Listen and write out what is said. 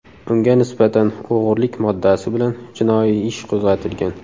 Unga nisbatan o‘g‘irlik moddasi bilan jinoiy ish qo‘zg‘atilgan.